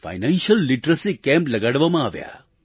financial literacy camp લગાડવામાં આવ્યા